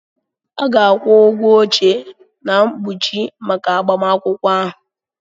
A ga-akwụ ụgwọ oche na mkpuchi maka agbamakwụkwọ ahụ.